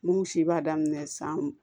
Minnu si b'a daminɛ san